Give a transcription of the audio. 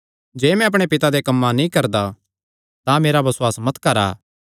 जे मैं अपणे पिता देयां कम्मां नीं करदा तां मेरा बसुआस मत करा